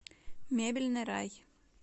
мебельный рай